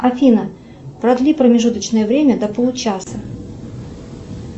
афина продли промежуточное время до получаса